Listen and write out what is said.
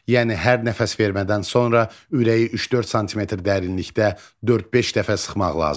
Yəni hər nəfəs vermədən sonra ürəyi 3-4 sm dərinlikdə 4-5 dəfə sıxmaq lazımdır.